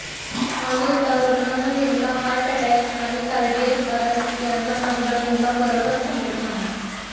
अनेकदा रूग्णांना नेमका हार्ट अटॅक आणि कार्डिएक अरेस्ट यांच्यामधला नेमका फरकच समजत नाही